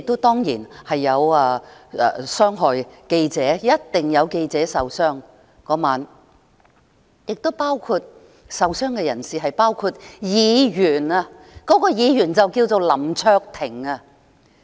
當然亦有傷及記者，當晚一定有記者受傷，而受傷人士亦包括議員，該議員名叫林卓廷。